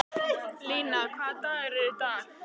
Lína, hvaða dagur er í dag?